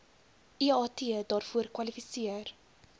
eat daarvoor kwalifiseer